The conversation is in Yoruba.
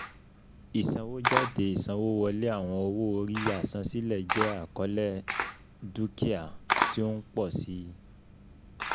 Ìsanwójádé Ìsanwówọlé Àwọn owó-orí àsansílẹ̀ jẹ́ àkọlé dukia ti o ń pọ̀ si